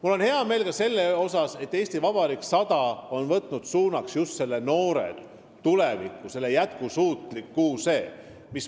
Mul on hea meel ka selle üle, et "Eesti Vabariik 100" puhul on võetud suund just noortele, tulevikule, jätkusuutlikkusele.